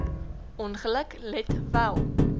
ongeluk let wel